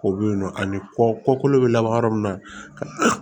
Ko bɛ yen nɔ ani kɔ kolo bɛ laban yɔrɔ min na